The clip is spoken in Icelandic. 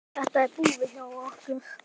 Þetta er búið hjá okkur!